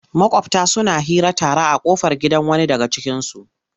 Maƙwabta suna hira tare a ƙofar gidan wani daga cikinsu.